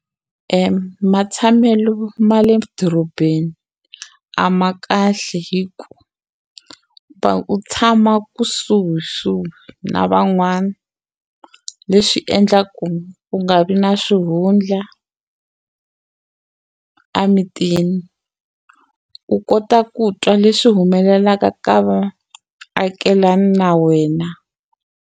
Matshamelo ma le dorobeni a ma kahle hi ku va u tshama kusuhisuhi na van'wana leswi endla ku u nga vi na swihundla a mitini u kota ku twa leswi humelelaka ka vaakelani na wena.